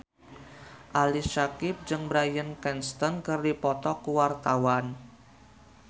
Ali Syakieb jeung Bryan Cranston keur dipoto ku wartawan